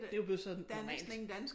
Det jo blevet sådan normalt